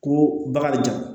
Ko bakarijan